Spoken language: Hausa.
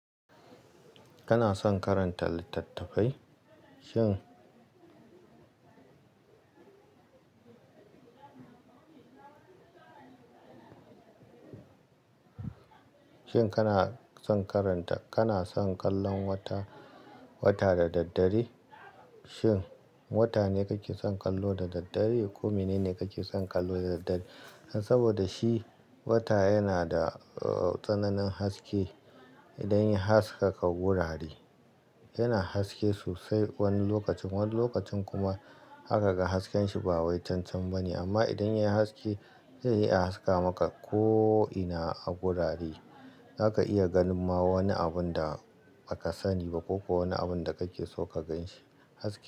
Kana son karanta littattafai? Shin kana son karanta, kana son kallon wata, wata da daddare? Shin wata ne kake son kallo da daddare ko menene kake son kallo da daddare? Saboda shi wata yana da tsananin haske idan ya haskaka wurare. Yana haske sosai wani lokacin, wani lokacin kuma haka ga hasken shi ba wai cancanci ba ne. Amma idan yayi haske zai iya a haska maka ko ina a wurare. Zaka iya ganin ma wani abun da baka sani ba ko kuwa wani abun da kake so ka gan shi haske.